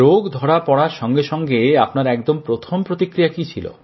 রোগ ধরা পড়ার সঙ্গে সঙ্গে আপনার একদম প্রথম প্রতিক্রিয়া কী ছিল